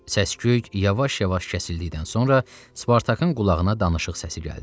Səsküy yavaş-yavaş kəsildikdən sonra Spartakın qulağına danışıq səsi gəldi.